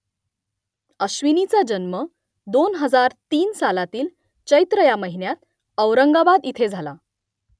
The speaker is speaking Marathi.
अश्विनीचा जन्म दोन हजार तीन सालातील चैत्र या महिन्यात औरंगाबाद इथे झाला